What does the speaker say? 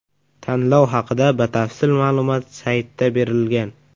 Tanlov haqida batafsil ma’lumot saytda berilgan.